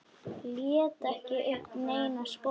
Lét ekki uppi neina skoðun.